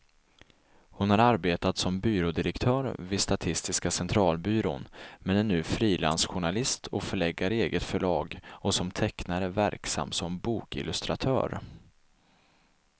Hon har arbetat som byrådirektör vid statistiska centralbyrån, men är nu frilansjournalist och förläggare i eget förlag och som tecknare verksam som bokillustratör.